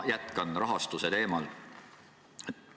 Ma jätkan rahastuse teemal.